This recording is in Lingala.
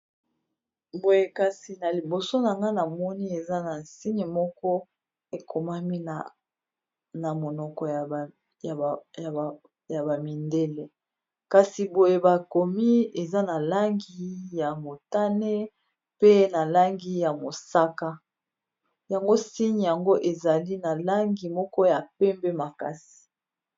boye kasi na liboso na nga na moni eza na nsigne moko ekomami na monoko ya bamindele kasi boye bakomi eza na langi ya motane pe na langi ya mosaka yango nsine yango ezali na langi moko ya pembe makasi